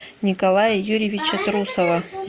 николая юрьевича трусова